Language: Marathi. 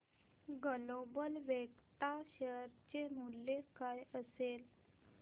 ग्लोबल वेक्ट्रा शेअर चे मूल्य काय असेल